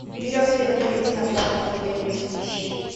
берется ли дополнительная плата за потерю вещей